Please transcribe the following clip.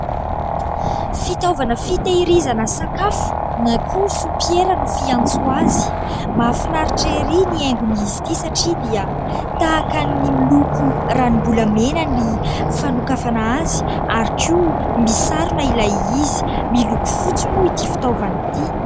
Fitaovana fitahirizana sakafo na koa "soupière" no fiantso azy. Mahafinaritra ery ny haingon'izy ity satria dia tahaka ny miloko ranom-bolamena ny fanokafana azy ary koa misarona ilay izy. Miloko fotsy moa ity fitaovana ity.